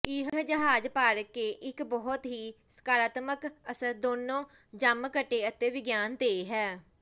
ਇਹ ਜਹਾਜ਼ ਭਰ ਇੱਕ ਬਹੁਤ ਹੀ ਸਕਾਰਾਤਮਕ ਅਸਰ ਦੋਨੋ ਜਮਘਟੇ ਅਤੇ ਵਿਗਿਆਨ ਤੇ ਹੈ